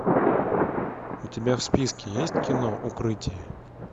у тебя в списке есть кино укрытие